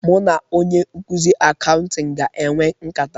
Mụ na onye nkụzị ndị Akauṅtịn ga-enwe nkata.